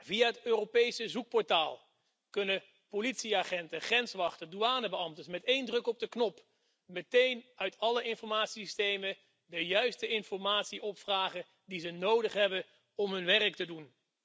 Via het Europese zoekportaal kunnen politieagenten, grenswachten en douanebeambten met één druk op de knop meteen uit alle informatiesystemen de juiste informatie opvragen die ze nodig hebben om hun werk te doen.